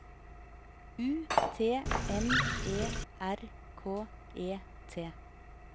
U T M E R K E T